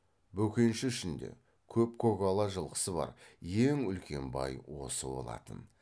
бөкенші ішінде көп көкала жылқысы бар ең үлкен бай осы болатын